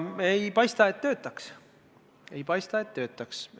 Ei paista, et see töötaks.